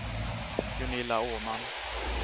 Gunilla Åman